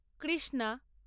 Krishna